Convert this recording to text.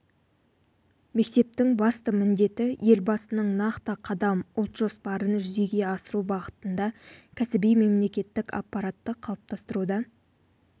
мектептің басты міндеті елбасының нақты қадам ұлт жоспарын жүзеге асыру бағытында кәсіби мемлекеттік аппаратты қалыптастыруда